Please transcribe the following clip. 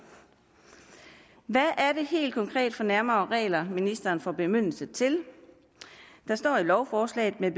hvad er det helt konkret for nærmere regler ministeren får bemyndigelse til der står i lovforslaget at